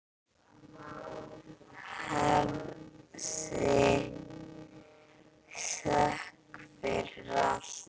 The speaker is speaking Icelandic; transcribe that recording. Hafið þökk fyrir allt.